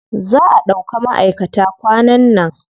Za a ɗauka maʼaikata kwanan nan.